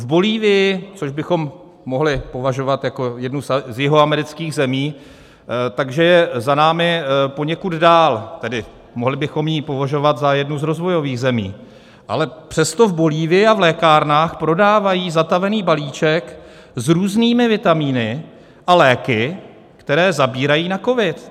V Bolívii, což bychom mohli považovat jako jednu z jihoamerických zemí, tak že je za námi poněkud dál, tedy mohli bychom ji považovat za jednu z rozvojových zemí, ale přesto v Bolívii a v lékárnách prodávají zatavený balíček s různými vitaminy a léky, které zabírají na covid.